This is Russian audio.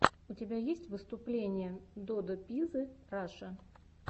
у тебя есть выступление додо пиззы раша